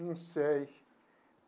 Não sei.